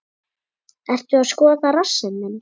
Ertu að skoða rassinn minn?